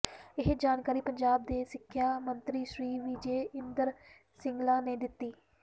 ਇਹ ਜਾਣਕਾਰੀ ਪੰਜਾਬ ਦੇ ਸਿੱਖਿਆ ਮੰਤਰੀ ਸ੍ਰੀ ਵਿਜੈ ਇੰਦਰ ਸਿੰਗਲਾ ਨੇ ਦਿਤੀ